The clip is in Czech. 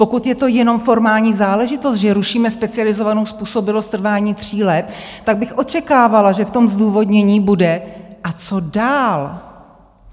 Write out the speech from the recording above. Pokud je to jenom formální záležitost, že rušíme specializovanou způsobilost v trvání tří let, tak bych očekávala, že v tom zdůvodnění bude, co dál.